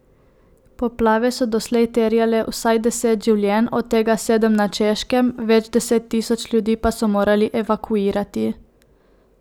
Poplave so doslej terjale vsaj deset življenj, od tega sedem na Češkem, več deset tisoč ljudi pa so morali evakuirati.